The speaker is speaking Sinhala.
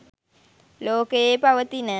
ලෝකයේ පවතින